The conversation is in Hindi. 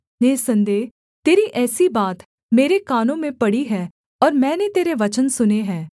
निःसन्देह तेरी ऐसी बात मेरे कानों में पड़ी है और मैंने तेरे वचन सुने हैं